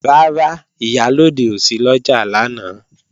Rárá, Ìyálóde ò sí lọ́jà lánàá